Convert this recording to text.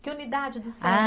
Que unidade do Sesi? Ah